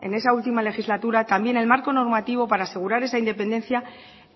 en esa última legislatura también el marco normativo para asegurar esa independencia